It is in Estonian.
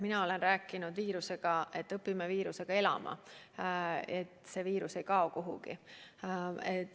Mina olen rääkinud, et õpime viirusega elama, et see viirus ei kao kuhugi.